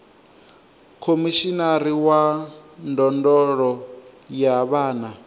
khomishinari wa ndondolo ya vhana